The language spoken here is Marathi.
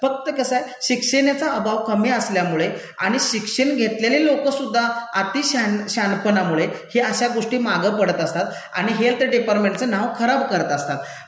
फक्त कसं ये शिक्षणाचा अभाव कमी असल्यामुळे आणि शिक्षण घेतलेले लोकंसुद्धा अतिशहानपणामुळे हे अशा गोष्टी मागं पडत असतात आणि हेल्थ डिपार्टमेंटचं नाव खराब करत असतात.